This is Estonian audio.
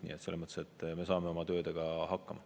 Nii et selles mõttes me saame oma töödega hakkama.